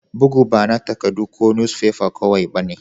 Bugu ba na takaddu ko nusfefa kowai ba ne.